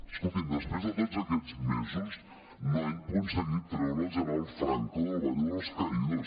escolti’m després de tots aquests mesos no han aconseguit treure el general franco del valle de los caídos